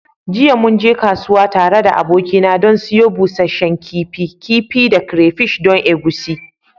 Jiya mun je kasuwa tare da abokina don siyo busasshen kifi, kifi kifi da crayfish don egusi.